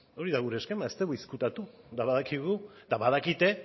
hori da gure eskema ez dugu ezkutatu eta badakigu eta badakite